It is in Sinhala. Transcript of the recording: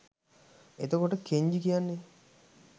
එතකොට කෙන්ජි කියන්නේ